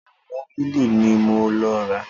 Ẹ́múgìlì ní mo lọ rà.